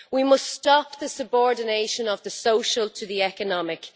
We must stop the subordination of the social to the economic.